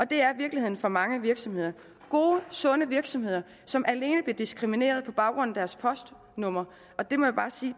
det er virkeligheden for mange virksomheder gode sunde virksomheder som alene bliver diskrimineret på baggrund af deres postnummer det må jeg bare sige